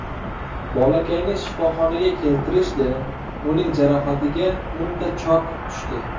Bolakayni shifoxonaga keltirishdi, uning jarohatiga o‘nta chok tushdi.